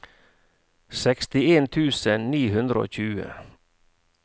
sekstien tusen ni hundre og tjue